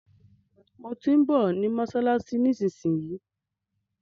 Mo tí ń bọ̀ ní mọ́ṣáláṣí nísinsìnyí.